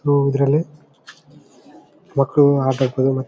ಓ ಇದ್ರಲ್ಲಿ ಮಕ್ಕಳು ಆಟ ಆಡ್ತಾರೆ.